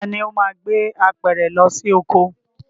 Taàní ó máa gbé apẹ̀rẹ̀ lọ sí oko?